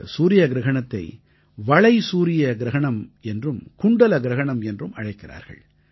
இந்தச் சூரிய கிரஹணத்தை வளைசூரிய கிரஹணம் என்றும் குண்டல கிரஹணம் என்றும் அழைக்கிறார்கள்